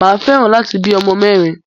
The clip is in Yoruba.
Mà a fẹ́ràn láti bí ọmọ mẹ́rin.